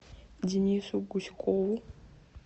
денису гуськову